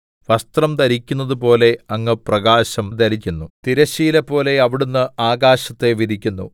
വസ്ത്രം ധരിക്കുന്നതുപോലെ അങ്ങ് പ്രകാശം ധരിക്കുന്നു തിരശ്ശീലപോലെ അവിടുന്ന് ആകാശത്തെ വിരിക്കുന്നു